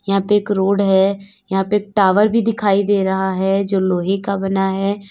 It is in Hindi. यहाँ पे एक रोड है यहाँ पे टॉवर भी दिखाई दे रहा है जो लोहे का बना है।